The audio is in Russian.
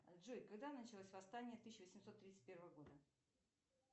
джой когда началось восстание тысяча восемьсот тридцать первого года